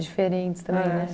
Diferentes também, né?